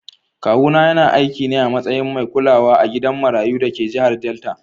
Kawuna yana aiki ne a matsayin mai kulawa a gidan marayu da ke jihar Delta.